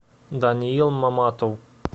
даниил маматов